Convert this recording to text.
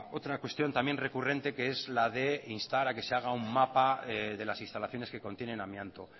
otra cuestión también recurrente que es la de instar a que se haga un mapa de las instalaciones que contienen amianto